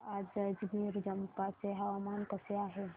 सांगा आज जंजगिरचंपा चे हवामान कसे आहे